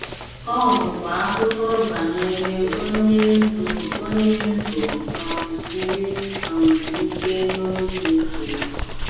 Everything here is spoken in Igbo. Ọ bụkwa akụkọ banyere onye ndu onye ndu um siri um ike na obi ike.